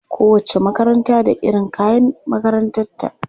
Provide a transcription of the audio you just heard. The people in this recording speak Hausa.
Kowacce makaranta da iron kayan makarantarta.